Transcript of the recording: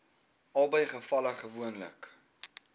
albei gevalle gewoonlik